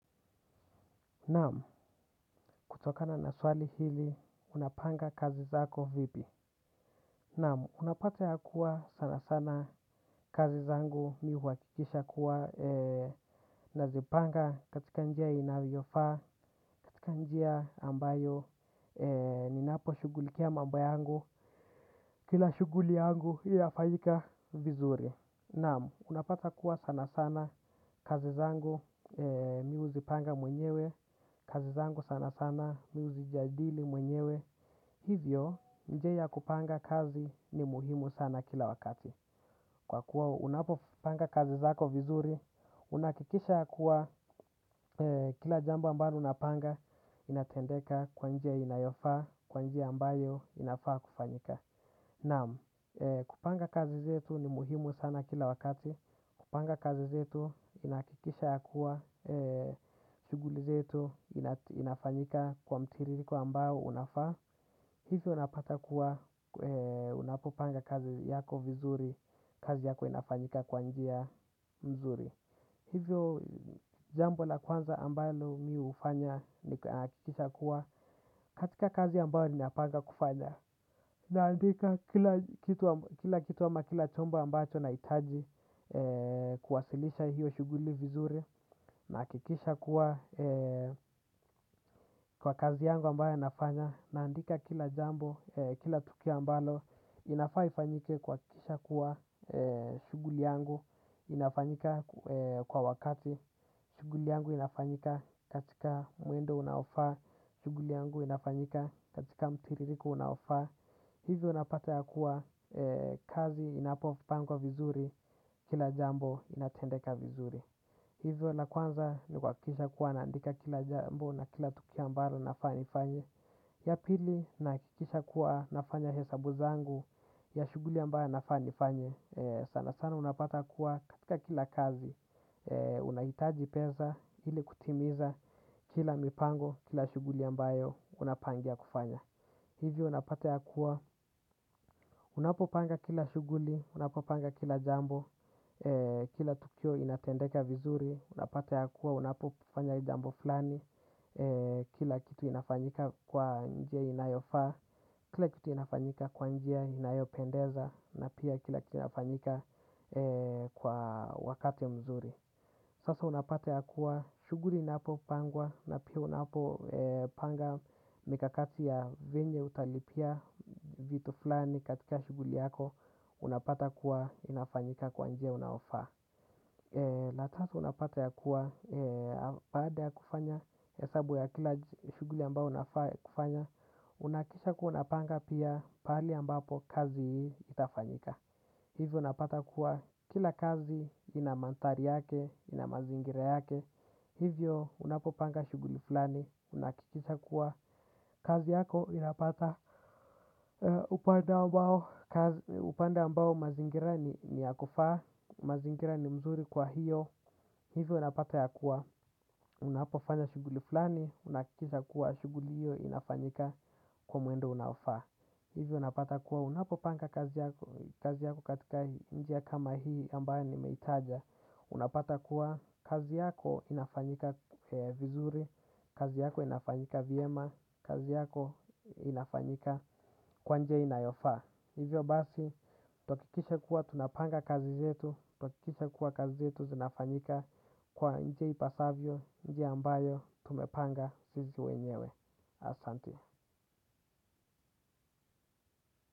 Naam kutokana na swali hili unapanga kazi zako vipi. Naam unapata ya kuwa sana sana kazi zangu mimi huhakikisha kuwa nazipanga katika njia inavyofaa katika njia ambayo ninaposhughulikia mambo yangu kila shughuli yangu inafanyika vizuri. Naam, unapata kuwa sana sana kazi zangu mimi huzipanga mwenyewe, kazi zangu sana sana mimi huzijadili mwenyewe. Hivyo, nje ya kupanga kazi ni muhimu sana kila wakati. Kwa kuwa unapopanga kazi zako vizuri, unahakikisha kuwa kila jambo ambalo unapanga, inatendeka kwa njia inayofaa, kwa njia ambayo inafaa kufanyika. Naam, kupanga kazi zetu ni muhimu sana kila wakati, kupanga kazi zetu inahakikisha ya kuwa, shughuli zetu inafanyika kwa mtiririko ambao unafaa, hivyo unapata kuwa unapopanga kazi yako vizuri, kazi yako inafanyika kwa njia mzuri. Hivyo jambo la kwanza ambalo mimi hufanya ni kuhakikisha kuwa katika kazi ambayo ninapanga kufanya. Naandika kila kitu ama kila chombo ambacho nahitaji kuwasilisha hiyo shughuli vizuri. Nahakikisha kuwa kwa kazi yangu ambayo nafanya. Naandika kila jambo, kila tukio ambalo inafaa ifanyike kuhakikisha kuwa shughuli yangu. Inafanyika kwa wakati shughuli yangu inafanyika katika mwendo unaofaa shughuli yangu inafanyika katika mtiririko unaofaa hivyo napata ya kuwa kazi inapopangwa vizuri kila jambo inatendeka vizuri hivyo la kwanza ni kuhakikisha kuwa naandika kila jambo na kila tukio ambalo nafaa nifanye ya pili nahakikisha kuwa nafanya hesabu zangu ya shughuli ambayo nafaa nifanye. Sana sana unapata kuwa katika kila kazi unahitaji pesa ili kutimiza kila mipango, kila shughuli ambayo unapangia kufanya hivi unapata ya kuwa unapopanga kila shughuli, unapopanga kila jambo. Kila tukio inatendeka vizuri. Unapata ya kuwa, unapofanya jambo fulani. Kila kitu inafanyika kwa njia inayofaa. Kila kitu inafanyika kwa njia inayopendeza. Na pia kila kitu inafanyika kwa wakati mzuri. Sasa unapata ya kuwa shughuli inapopangwa na pia unapopanga mikakati ya venye utalipia. Vitu fulani katika shughuli yako unapata kuwa inafanyika kwa njia unaofaa. La tatu unapata ya kuwa baada ya kufanya hesabu ya kila shughuli ambao unafaa kufanya unahakikisha kuwa unapanga pia pahali ambapo kazi hii itafanyika. Hivyo unapata kuwa kila kazi ina mandhari yake, ina mazingira yake. Hivyo unapopanga shughuli fulani, unahakikisha kuwa kazi yako inapata upande ambao mazingira ni ya kufaa, mazingira ni mzuri kwa hiyo. Hivyo unapata ya kuwa unapofanya shughuli fulani, unahakikisha kuwa shughuli hiyo inafanyika kwa mwendo unafaa. Hivyo unapata kuwa unapopanga kazi yako katika njia kama hii ambayo nimeitaja. Unapata kuwa kazi yako inafanyika vizuri, kazi yako inafanyika vyema, kazi yako inafanyika kwa njia inayofaa. Hivyo basi, tuhakikishe kuwa tunapanga kazi zetu, tuhakikishe kuwa kazi zetu zinafanyika kwa njia ipasavyo, njia ambayo tumepanga sisi wenyewe. Asante.